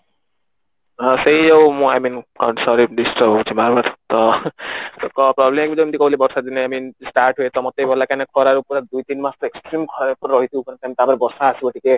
ସେଇ ଜଉ ମୁଁ I mean sorry disturb ହଉଚି ବାର ବାର ତ କଣ problem ଯେମତି କହୁଥିଲି ବର୍ଷା ଦିନେ I mean start ହୁଏ ତ ମତେ ବି ଭଲ ଲାଗେ କାଇଁନା ଖରା ରେ ପୁରା ଦୁଇ ଟି ମାସ ପୁରା extreme ଖରା ରେ ରହିଥିବୁ ତ ପରେବର୍ଷା ଆସିବା ଟିକେ